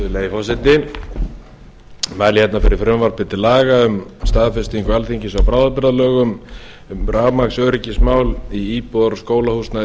forseti ég mæli hérna fyrir frumvarpi til laga um staðfestingu alþingis á bráðabirgðalögum um rafmagnsöryggismál í íbúðar og skólahúsnæði